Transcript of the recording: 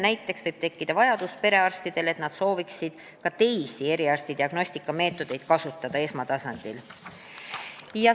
Näiteks võib perearstidel tekkida vajadus kasutada esmatasandil ka teisi eriarstiabi diagnostikameetodeid.